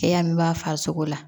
Cɛya min b'a farisogo la